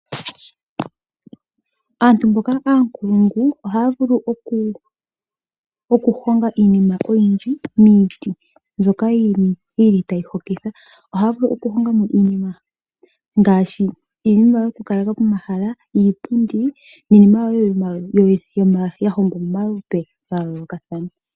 Aantu mboka oonkulungu ohaya vulu okuhonga iinima oyindji miiti mbyoka tayi hokitha. Ohaya vulu okuhonga mo okuhonga iinima ngaashi yokwoopaleka pomahala, iipundi niinima wo yahongwa momalupe ga yoolokathana.